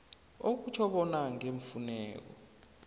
okutjho bona ngeemfuneko